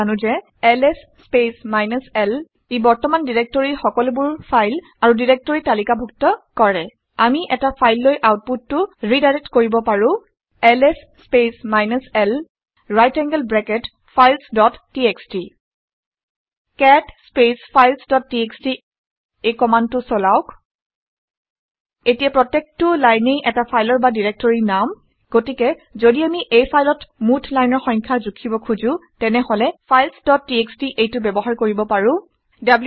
আমি জানো যে এলএছ স্পেচ মাইনাছ l এ প্ৰেজেন্ট ডাইৰেক্টৰীৰ সকলোবাৰ ফাইল আৰু ডাইৰেক্টৰী তালিকা ডুক্ত কৰে। আমি এটা ফাইললৈ আউটপুটটো ৰিডাইৰেক্ট কৰিব পাৰো - L S space minus l right angled bracket files dot TXT cat space files dot TXT এই কমাণ্ডটো চলাওক এতিয়া প্ৰত্যেকটো লাইনেই এটা ফালৰ বা ডিৰেক্টৰীৰ নাম। গতিকে ঘদি আমি এই ফাইলত মুঠ লাইনৰ সংখ্যা জুখিব খোজোঁ তেনেহলে ফাইলছ ডট txt - এইটো ব্যৱহাৰ কৰিব পাৰোঁ